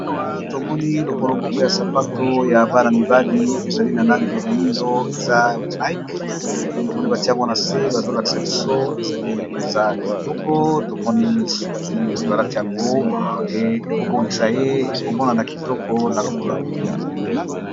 Awa tomoni lokolo moko ya sapato ya bana-mibali ezali na nange ya moindo eza nike tomoni batiyango na se bazolakisa biso ezali mpenza kitoko tomoni soki moto alati yango ekobongisa ye ekomonana kitoko na lokolo ya moto.